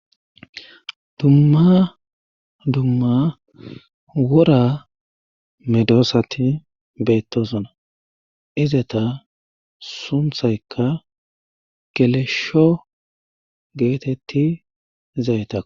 dumma dumma wora medosati bettosona izeta sunththaykka gelesho geetetti zayta